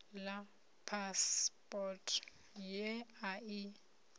ḽa phasipoto ye a i